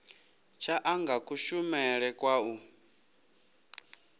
tsha anga kushumele kwa u